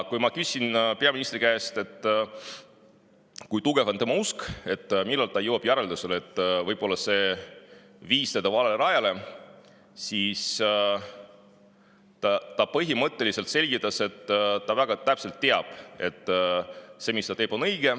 Kui ma küsisin peaministri käest, kui tugev on tema usk, millal ta jõuab järeldusele, et võib-olla on see viinud ta valele rajale, siis ta põhimõtteliselt selgitas, et ta teab väga täpselt, et see, mis ta teeb, on õige.